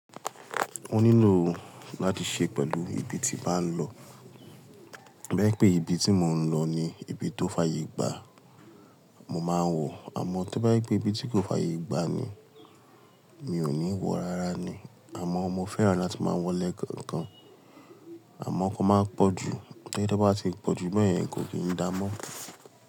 Mo nílò láti ṣe pẹ̀lú ibi tí bàá ń lọ. Bí i pé ibi tí mò ń lọ ni ibi tó fàyè gbàá, mo máa wọ̀, àmọ́ tí bá yí pé ibi tí kò fàyè gbàá ni, mi ò ní wọ̀ rárá ni. Àmọ́ mo fẹ́ràn láti máa wọ lẹ̀ kọ̀ọ̀kan, àmọ́ kò máa pọ̀ jù. To jẹ wọ́n bá ti pọ̀ jù bẹ́ẹ̀ yẹn kò kì í dáa mọ́.